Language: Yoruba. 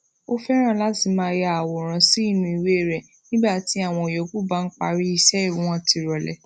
ó féràn láti máa ya àwòrán sínú ìwé rè nígbà tí àwọn yòókù bá ń parí iṣé won ti role